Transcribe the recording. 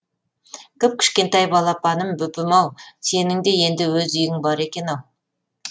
кіп кішкентай балапаным бөпем ау сенің де енді өз үйің бар екен ау